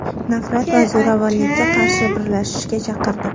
nafrat va zo‘ravonlikka qarshi birlashishga chaqirdi.